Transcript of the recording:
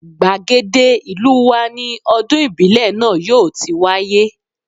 Gbàgede ìlú wa ni ọdún ìbílẹ̀ náà yóò ti wáyé